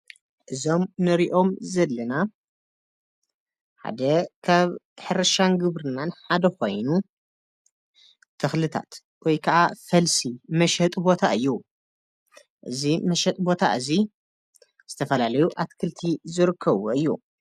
እዞም እንርእዮም ዘለና ሓደ ካብ ሕርሻን ግብርናን ሓደ ኮይኑ ተክልታት ወይከዓ ፈልሲ መሸጢ ቦታ እዩ እዚ መሸጢ ቦታ እዚ ዝተፈላለዪ ኣትክልቲ ዝርከብዎ እዩ።